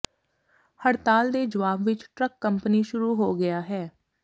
ਹੜਤਾਲ ਦੇ ਜਵਾਬ ਵਿਚ ਟਰੱਕ ਕੰਪਨੀ ਸ਼ੁਰੂ ਹੋ ਗਿਆ ਹੈ